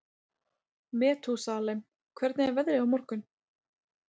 Metúsalem, hvernig er veðrið á morgun?